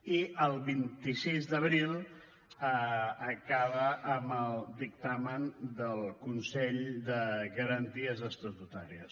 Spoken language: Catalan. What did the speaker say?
i el vint sis d’abril acaba amb el dictamen del consell de garanties estatutàries